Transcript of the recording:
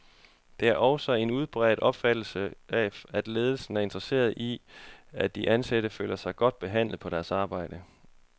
Der er også en udbredt opfattelse af, at ledelsen er interesseret i, at de ansatte føler sig godt behandlet på deres arbejde.